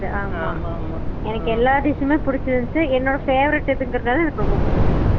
முடியாது ஆமா ஆமா எனக்கு எல்ல dish மே புடிச்சு இருந்துச்சு என்னோட favorite ங்கற நல எனக்கு ரொம்ப புடிச்சுது